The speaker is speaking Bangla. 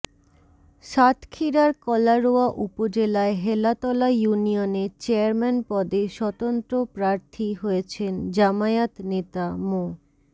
সাতক্ষীরার কলারোয়া উপজেলায় হেলাতলা ইউনিয়নে চেয়ারম্যান পদে স্বতন্ত্র প্রার্থী হয়েছেন জামায়াত নেতা মো